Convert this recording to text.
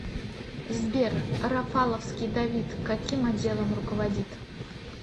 сбер рафаловский давид каким отделом руководит